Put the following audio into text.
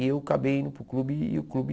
E eu acabei indo para o clube e o clube...